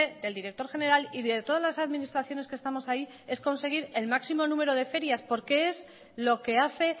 del director general y de todas las administraciones que estamos ahí es conseguir el máximo número de ferias porque es lo que hace